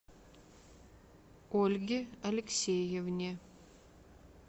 ольге алексеевне